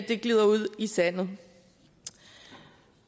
sandet